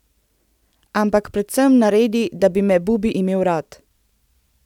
Ampak predvsem naredi, da bi me Bubi imel rad.